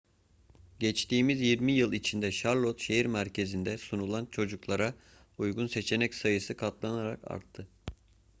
geçtiğimiz 20 yıl içinde charlotte şehir merkezinde sunulan çocuklara uygun seçenek sayısı katlanarak arttı